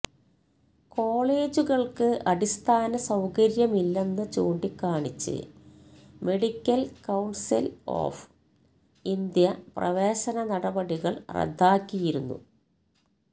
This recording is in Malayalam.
കോളേജുകള്ക്ക് അടിസ്ഥാന സൌകര്യമില്ലെന്ന് ചൂണ്ടിക്കാണിച്ച് മെഡിക്കല് കൌണ്സില് ഓഫ് ഇന്ത്യ പ്രവേശന നടപടികള് റദ്ദാക്കിയിരുന്നു